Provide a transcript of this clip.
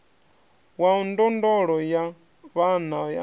wa ndondolo ya vhana a